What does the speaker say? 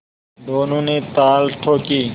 दोनों ने ताल ठोंकी